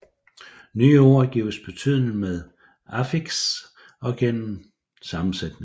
Nye ord gives betydning med affiks og gennem sammensætning